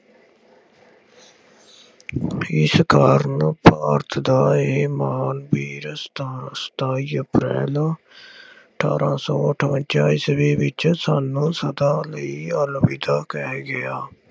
ਜਿਸ ਕਾਰਨ ਭਾਰਤ ਦਾ ਇਹ ਮਹਾਂਵੀਰ ਸਤਾ ਸਤਾਈ ਅਪ੍ਰੈਲ ਅਠਾਰਾਂ ਸੌ ਅਠਵੰਜ਼ਾ ਈਸਵੀ ਵਿੱਚ ਸਾਨੂੰ ਸਦਾ ਲਈ ਅਲਵਿਦਾ ਕਹਿ ਗਿਆ।